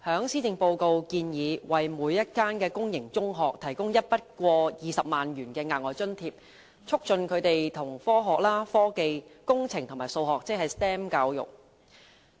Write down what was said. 施政報告建議為每一間公營中學提供一筆過20萬元的額外津貼，促進學校推行科學、科技、工程及數學教育。